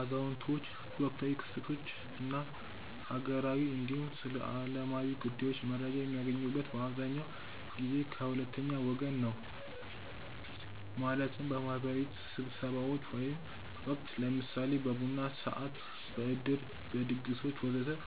አዛውንቶች ወቅታዊ ክስተቶች እና ሀገራዊ እንዲሁም ስለዓለማዊ ጉዳዮች መረጃ የሚያገኙት በአብዛኛው ጊዜ ከ ሁለተኛ ወገን ነው ማለትም፦ በ ማህበራዊ ስብስቦች ወቅት(ለምሳሌ በቡና ሰዓት፣ በዕድር፣ በድግሶች ወዘተ...)